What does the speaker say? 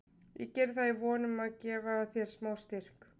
Ég geri það í von um að gefa þér smá styrk.